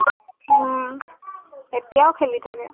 উম এতিয়াও খেলি থাকে